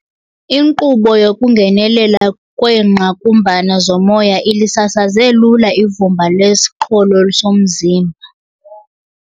Inkqubo yokungenelela kweengqakumbana zomoya ilisasaze lula ivumba lesiqholo somzimba.